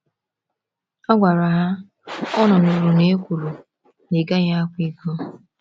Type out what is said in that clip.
Ọ gwara ha: “Unu nụrụ na e kwuru, ‘Ị gaghị akwa iko.’”